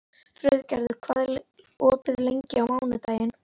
Friðgerður, hvað er opið lengi á mánudaginn?